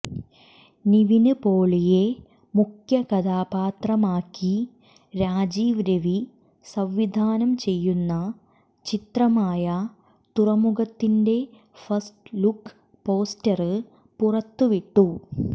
നിവിന് പോളിയെ മുഖ്യ കഥാപാത്രമാക്കി രാജീവ് രവി സംവിധാനം ചെയ്യുന്ന ചിത്രമായ തുറമുഖത്തിൻ്റെ ഫസ്റ്റ് ലുക്ക് പോസ്റ്റര് പുറത്ത് വിട്ടു